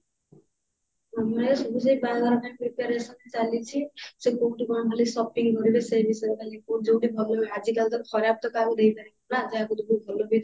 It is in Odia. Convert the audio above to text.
ମାମା ହେରିକା ସବୁ ସେଇ ବାହାଘର ପାଇଁ preparation ଚାଲିଛି ସେ କୋଉଠି କଣ ଖାଲି shopping କରିବେ ସେ ବିଷୟରେ ଖାଲି ଯୋଉଠି ଭଲ ଆଜିକାଲି ତ ଖରାପ ତ କାହାକୁ ଦେଇ ପାରିବୁନି ନା ଯାହାକୁ ଦବୁ ଭଲ ବି ଦବୁ